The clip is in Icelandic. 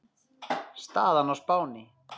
Staðan á Spáni